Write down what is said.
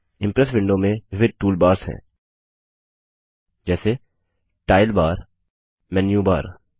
Impress window में विविध toolbars हैं जैसे- टाइटल बार मेन्यू बार